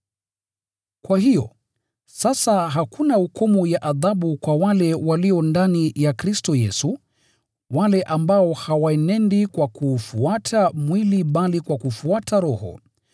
Kwa hiyo, sasa hakuna hukumu ya adhabu kwa wale walio ndani ya Kristo Yesu, wale ambao hawaenendi kwa kuufuata mwili bali kwa kufuata Roho.